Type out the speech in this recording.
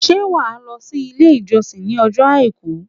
Ṣé wàá lọ sí Ilé ìjọsìn ìj ní ojó Àìkú